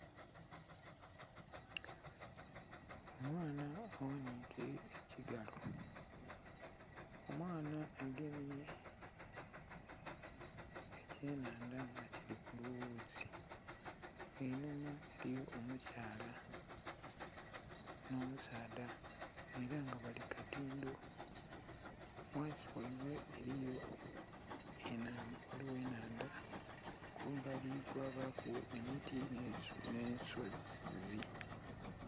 Omwaana aghanike ekigalo omwaana agemye ekye nhandha nga kili ku lughuuzi, einhuma eriyo omukyala nho musaadha era nga bali ku katindho ghansi ghaibwe ghaligho enhandha kumbali kwabaku emiti nhe'nsozi.